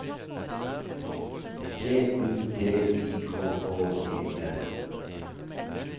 B U T I K K E N